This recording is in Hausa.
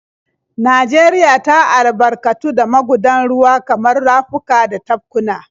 Najeriya ta albarkatu da magudan ruwa kamar rafuka da tafkuna.